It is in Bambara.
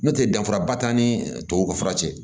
N'o tɛ danfara ba t'an ni tubabuw ka fura cɛ